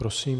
Prosím.